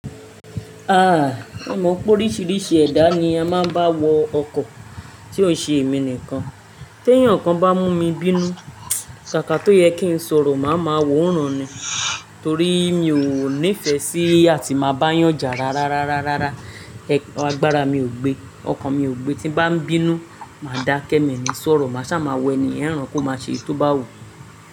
Mo mọ pé oríṣiríṣi ẹ̀dá ni a máa ń bá wọ ọkọ̀ tí ò ń ṣe èmi nìkan. Tí ẹyan kan bá mú mi bínú, ṣà ká to yẹ kí ń sọ̀rọ̀, màá ma wọ ran ni. Torí mi ò nífẹ̀ẹ́ sí àti máa bá yànjà rara. Agbarà mi ò gbe, ọkàn mi ò gbe. Tí ń bá ń bínú, màá dá kẹ́ mi ni sọ̀rọ̀. Màá sá máa wo ènìyàn rán kó má ṣe éyi tó bá wu.